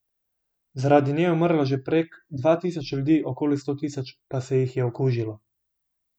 Zaradi nje je umrlo že prek dva tisoč ljudi, okoli sto tisoč pa se jih je okužilo.